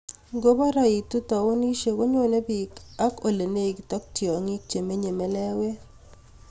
Ngo paraitu taonishek konyone bik ak ole negit ak tiongik chemenyei meleewet